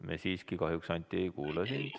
Me siiski kahjuks, Anti, ei kuule sind.